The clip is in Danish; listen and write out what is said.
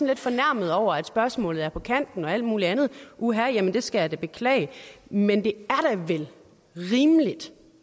lidt fornærmet over at spørgsmålet er på kanten og alt muligt andet uha jamen det jeg skal da beklage men det er da vel rimeligt